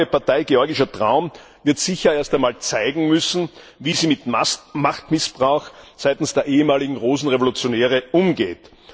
Die neue Partei Georgischer Traum wird sicher erst einmal zeigen müssen, wie sie mit Machtmissbrauch seitens der ehemaligen Rosenrevolutionäre umgeht.